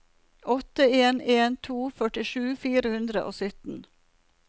åtte en en to førtisju fire hundre og sytten